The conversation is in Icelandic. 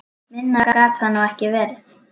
Minna gat það nú ekki verið.